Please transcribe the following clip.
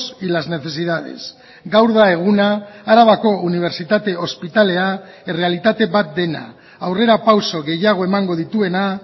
y las necesidades gaur da eguna arabako unibertsitate ospitalea errealitate bat dena aurrerapauso gehiago emango dituena